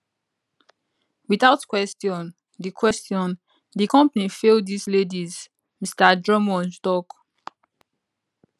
without question di question di company fail dis ladies mr drummond tok